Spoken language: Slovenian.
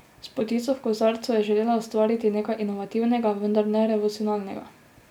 S potico v kozarcu je želela ustvariti nekaj inovativnega, vendar ne revolucionarnega.